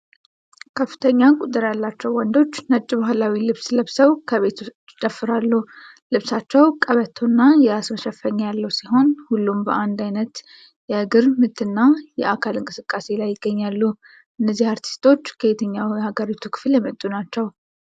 ከፍተኛ ቁጥር ያላቸው ወንዶች ነጭ ባህላዊ ልብስ ለብሰው ከቤት ውጭ ይጨፍራሉ። ልብሳቸው ቀበቶና የራስ መሸፈኛ ያለው ሲሆን፣ ሁሉም በአንድ አይነት የእግር ምትና የአካል እንቅስቃሴ ላይ ይገኛሉ። እነዚህ አርቲስቶች ከየትኛው የሀገሪቱ ክፍል የመጡ ናቸው?